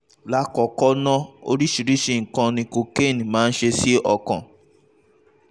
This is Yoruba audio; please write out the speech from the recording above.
lákọ̀ọ́kọ́ ná oríṣiríṣi nǹkan ni kokéènì máa ń ṣe sí ọkàn